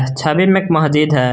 इस छवि में एक मस्जिद है।